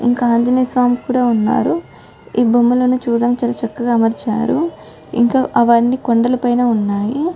ఇంకా ఆంజనేయ స్వామి కూడా ఉన్నారు. ఈ బొమ్మని చూడడానికి చాలా చక్కగా అమర్చారు. ఇంకా అవ్వన్ని కొండలపైన ఉన్నాయి.